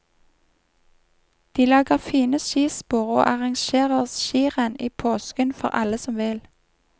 De lager fine skispor og arrangerer skirenn i påsken for alle som vil.